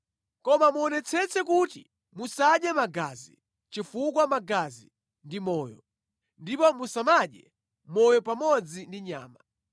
Koma muonetsetse kuti musadye magazi, chifukwa magazi ndi moyo, ndipo musamadye moyo pamodzi ndi nyama.